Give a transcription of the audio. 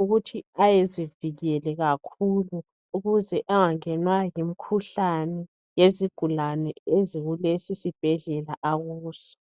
ukuthi ayezivikele kakhulu ukuze engangenwa yimikhuhlane yezigulane ezikulesi isibhedlela akuso.